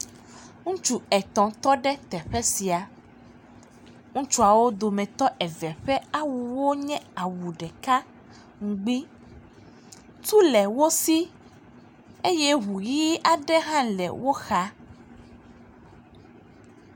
Ŋutsu etɔ̃ tɔ ɖe teƒe sia. Ŋutsuawo dometɔ eve ƒe awuwo nye awu ɖeka ŋgbi. Tu le wo si eye ŋu ʋi aɖe hã le wo xa.